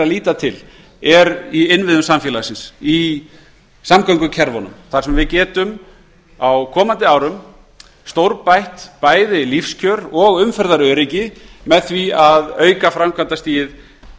líta til er í innviðum samfélagsins í samgöngukerfunum þar sem við getum á komandi árum stórbætt bæði lífskjör og umferðaröryggi með því að auka framkvæmdastigið